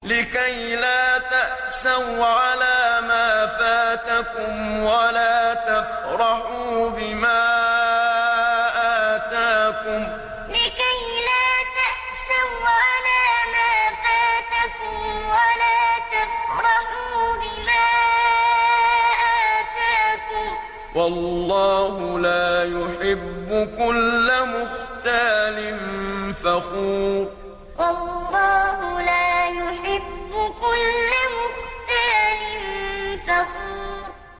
لِّكَيْلَا تَأْسَوْا عَلَىٰ مَا فَاتَكُمْ وَلَا تَفْرَحُوا بِمَا آتَاكُمْ ۗ وَاللَّهُ لَا يُحِبُّ كُلَّ مُخْتَالٍ فَخُورٍ لِّكَيْلَا تَأْسَوْا عَلَىٰ مَا فَاتَكُمْ وَلَا تَفْرَحُوا بِمَا آتَاكُمْ ۗ وَاللَّهُ لَا يُحِبُّ كُلَّ مُخْتَالٍ فَخُورٍ